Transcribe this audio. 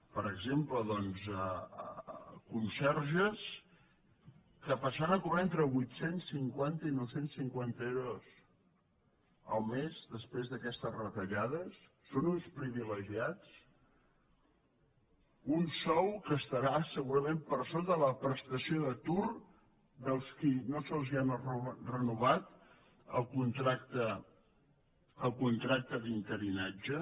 per exemple conserges que passaran a cobrar entre vuit cents i cinquanta i nou cents i cinquanta euros el mes després d’aquestes retallades són uns privilegiats un sou que estarà segurament per sota de la prestació d’atur dels qui no se’ls ha renovat el contracte d’interinatge